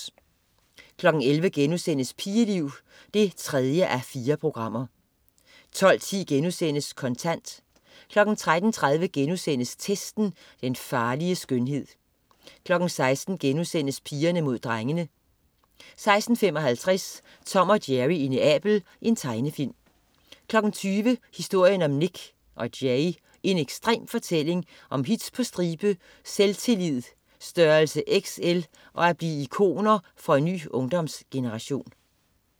11.00 Pigeliv 3:4* 12.10 Kontant* 13.30 Testen. Den farlige skønhed* 16.00 Pigerne mod drengene* 16.55 Tom og Jerry i Neapel. Tegnefilm 20.00 Historien om Nik & Jay. En ekstrem fortælling om hits på stribe, selvtillid størrelse XL og at blive ikoner for en ny ungdomsgeneration